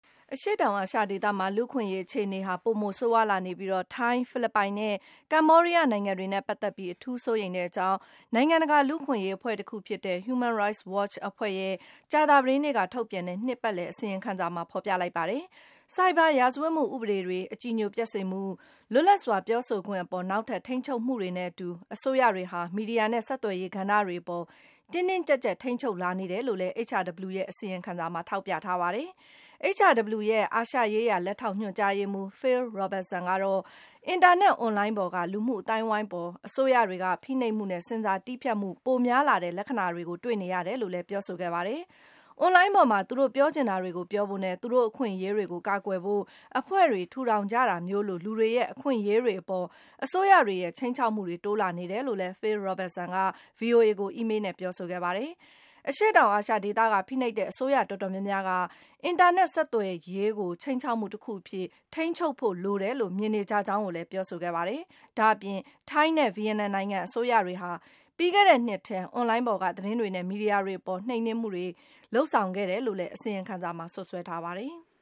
အရှေ့တောင်အာရှ ဒေသမှာ လူ့အခွင့်အရေး အခြေအနေတွေဟာ ပိုမို ဆိုးရွားလာနေပြီး - ထိုင်း၊ ဖိလစ်ပိုင်နဲ့ ကမ္ဘောဒီးယား နိုင်ငံတွေနဲ့ ပတ်သက်ပြီး အထူးစိုးရိမ်ကြောင်း နိုင်ငံတကာ လူ့အခွင့်အရေး လှုပ်ရှားမှုအဖွဲ့တခုဖြစ်တဲ့ Human Rights Watch (HRW) အဖွဲ့ရဲ့ ကြာသပတေးနေ့က ထုတ်ပြန်လိုက်တဲ့ နှစ်စဉ် အစီရင်ခံစာက ဖော်ပြလိုက်ပါတယ်။ ဆိုက်ဘာရာဇဝတ်မှု ဥပဒေတွေ၊ အကြည်ညိုပျက်စေမှု၊ လွတ်လပ်စွာပြောဆိုခွင့် အပေါ် နောက်ထပ် ထိန်းချုပ်မှုတွေနဲ့အတူ အစိုးရတွေဟာ မီဒီယာနဲ့ ဆက်သွယ်ရေးကဏ္ဍတွေကို တင်းတင်းကြပ်ကြပ် ထိန်းချုပ်လာတယ်လို့လည်း HRW ရဲ့ အစီရင်ခံစာမှာ ထောက်ပြထားတာပါ။ HRW ရဲ့ အာရှရေးရာ လက်ထောက် ညွှန်ကြားရေးမှူး Phil Robertson ကတော့ - အင်တာနက်အွန်လိုင်းပေါ်က လူမှုအသိုင်းအဝိုင်းအပေါ် အစိုးရတွေက ဖိနှိပ်မှုနဲ့ ဆင်ဆာတည်းဖြတ်မှုတွေ ပိုများလာတဲ့ လက္ခဏာတွေ တွေ့ရတယ်လို့ ပြောပါတယ်။ အွန်လိုင်းပေါ်မှာ သူတို့ ပြောချင်တာတွေကို ပြောဖို့နဲ့ သူတို့ အခွင့်အရေးတွေကို ကာကွယ်ဖို့ အဖွဲ့တွေ ထူထောင်ကြတာမျိုးလို လူတွေရဲ့ အခွင့်အရေးတွေအပေါ် အစိုးရတွေရဲ့ ခြိမ်းခြောက်မှုတွေ တိုးလာနေတယ်လို့လည်း Phil Robertson က ဗွီအိုအေကို အီးမေးလ်နဲ့ ပြောဆိုခဲ့ပါတယ်။ အရှေ့တောင်အာရှဒေသက ဖိနှိပ်တဲ့အစိုးရတော်တော်များများဟာ အင်တာနက် ဆက်သွယ်ရေးဟာ ခြိမ်းခြောက်မှုတခုအဖြစ် ထိန်းချုပ်ဖို့ လိုတယ်လို့ မြင်နေကြကြောင်းလည်း ပြောဆိုခဲ့တာပါ။ ဒါ့အပြင် ထိုင်းနဲ့ ဗီယက်နမ်နိုင်ငံ အစိုးရတွေဟာ - ပြီးခဲ့တဲ့နှစ်ထဲ အွန်လိုင်းပေါ်က သတင်းတွေနဲ့ မီဒီယာတွေအပေါ် နှိမ်နင်းမှုတွေ လုပ်ဆောင်ခဲ့တယ်လို့လည်း အစီရင်ခံစာက စွပ်စွဲထားပါတယ်။